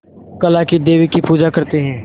काला क़ी देवी की पूजा करते है